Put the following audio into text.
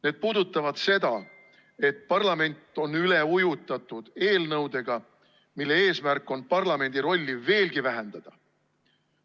Need puudutavad seda, et parlament on üle ujutatud eelnõudega, mille eesmärk on parlamendi rolli veelgi vähendada.